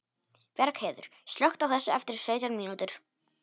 Bjargheiður, slökktu á þessu eftir sautján mínútur.